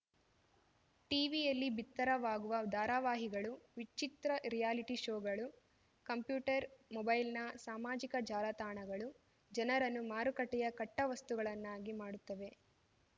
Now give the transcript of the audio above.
ಟಿವಿಯಲ್ಲಿ ಬಿತ್ತರವಾಗುವ ಧಾರಾವಾಹಿಗಳು ವಿಚಿತ್ರ ರಿಯಾಲಿಟಿ ಶೋಗಳು ಕಂಪ್ಯೂಟರ್‌ ಮೊಬೈಲ್‌ನ ಸಾಮಾಜಿಕ ಜಾಲಾತಾಣಗಳು ಜನರನ್ನು ಮಾರುಕಟ್ಟೆಯ ಕಟ್ಟವಸ್ತುಗಳನ್ನಾಗಿ ಮಾಡುತ್ತವೆ